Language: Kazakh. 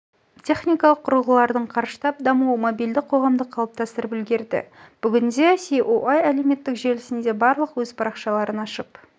техникалық құрылғылардың қарыштап дамуы мобильді қоғамды қалыптастырып үлгерді бүгінде ееа әлеуметтік желісінде барлық өз парақшаларын ашып